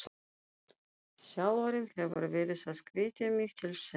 Þjálfarinn hefur verið að hvetja mig til þess.